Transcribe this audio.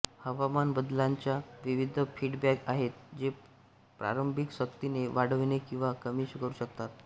हवामान बदलांच्या विविध फीडबॅक आहेत जे प्रारंभिक सक्तीने वाढवणे किंवा कमी करू शकतात